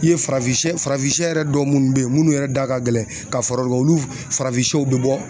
I ye farafin sɛ farafin sɛ yɛrɛ dɔw minnu bɛ yen minnu yɛrɛ da ka gɛlɛn ka fara olu farafin sɛw bɛ bɔ